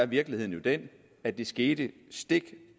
virkeligheden jo den at det skete stik